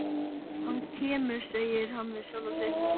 Hann kemur, segir hann við sjálfan sig, hann kemur.